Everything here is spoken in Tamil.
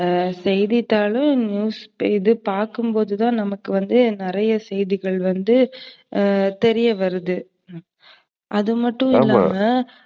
ஆஹ் செய்தித்தாள், இது news பாக்கும்போதுதான் நமக்கு வந்து நிறைய செய்திகள் வந்து தெரியவருது. அதுமட்டும் இல்லாம,